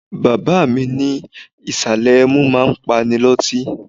Bàbá mi ní ìsàlẹ̀ ẹmu máa ń pani lọ́tí.